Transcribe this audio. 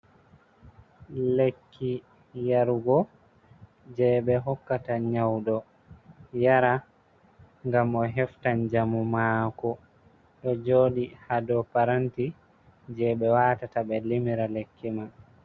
Lekki yarugo je be hokkata nyaudo yara gam o hefta njamu mako, ɗo joɗi ha do paranti je ɓe watata be limira lekki man.